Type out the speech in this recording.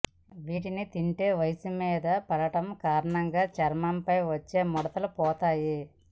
వీటిని తింటే వయస్సు మీద పడడం కారణంగా చర్మంపై వచ్చే ముడతలు పోతాయి